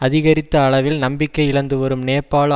அதிகரித்த அளவில் நம்பிக்கை இழந்துவரும் நேபாள